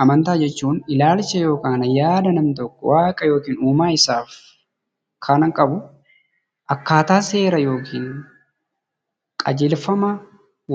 Amantaa jechuun ilaalcha namni tokko Waaqa yookaan uumaa isaa faana qabu. Akkaataa seera yookiin qajeelfama